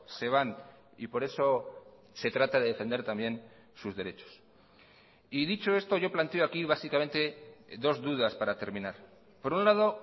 se van y por eso se trata de defender también sus derechos y dicho esto yo planteo aquí básicamente dos dudas para terminar por un lado